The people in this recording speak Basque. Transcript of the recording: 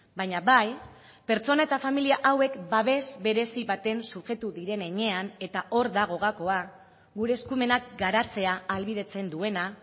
baina bai pertsona eta familia hauek babes berezi baten subjektu diren heinean eta hor dago gakoa gure eskumenak garatzea ahalbidetzen duena